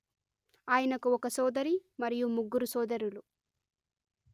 ఆయనకు ఒక సోదరి మరియు ముగ్గురు సోదరులు